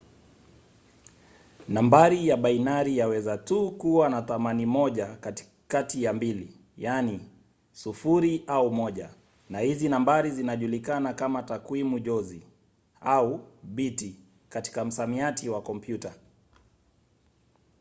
nambari ya bainari yaweza tu kuwa na thamani moja kati ya mbili yaani 0 au 1 na hizi nambari zinajulikana kama takwimu jozi au biti katika msamiati wa kompyuta